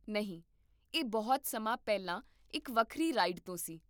ਨਹੀਂ, ਇਹ ਬਹੁਤ ਸਮਾਂ ਪਹਿਲਾਂ ਇੱਕ ਵੱਖਰੀ ਰਾਈਡ ਤੋਂ ਸੀ